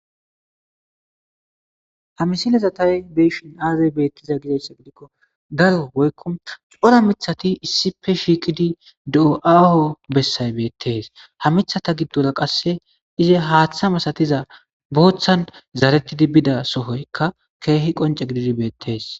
ha misileza tay beishin aazay beettiza gideyssa gidikko daro woykko cora mithati issipe shiiqidi dio7aao bessay beettees ha mithata giddora qasse ize haaththa misatiza booththan zarettidi bida sohoykka keehi qonce gididi beettees